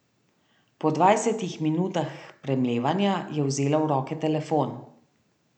Po dvajsetih minutah premlevanja je vzela v roke telefon.